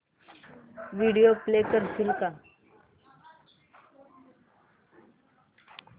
video play करशील